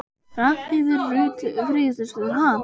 Ragnheiður Rut Friðgeirsdóttir: Ha?